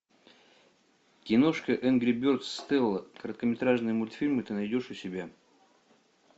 киношка энгри бердс стелла короткометражные мультфильмы ты найдешь у себя